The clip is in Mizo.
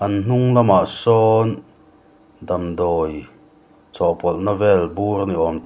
an hnung lamah sawn damdawi chawhpawlhna vel bur ni awm--